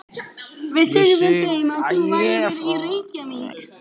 Við sögðum þeim að þú værir í Reykjavík.